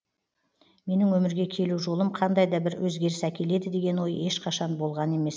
менің өмірге келу жолым қандай да бір өзгеріс әкеледі деген ой ешқашан болған емес